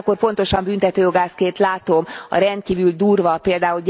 Ugyanakkor pontosan büntetőjogászként látom a rendkívül durva, pl.